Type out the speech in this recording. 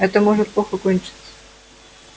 это может плохо кончиться